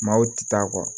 Maaw ti taa kɔ